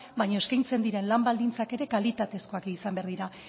baina eskaintzen diren lan baldintzak ere kalitatezkoak izan behar dira